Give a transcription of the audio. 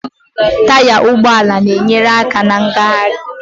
Taya ụgbọala na-enyere aka na ngagharị